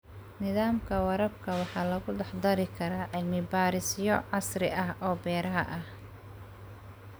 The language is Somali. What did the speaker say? Nidaamka waraabka waxaa lagu dhex dari karaa cilmi-baarisyo casri ah oo beeraha ah.